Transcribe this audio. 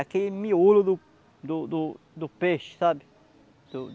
Aquele miolo do do do do peixe, sabe? Do